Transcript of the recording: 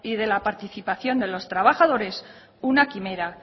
de la participación de los trabajadores una quimera